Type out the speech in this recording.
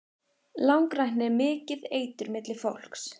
Langrækni er mikið eitur milli fólks.